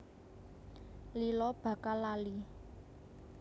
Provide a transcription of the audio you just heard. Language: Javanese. Lila bakal lali